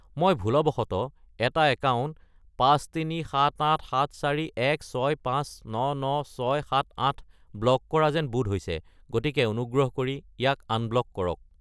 মই ভুলবশতঃ এটা একাউণ্ট 53787416599678 ব্লক কৰা যেন বোধ হৈছে, গতিকে অনুগ্ৰহ কৰি ইয়াক আনব্লক কৰক।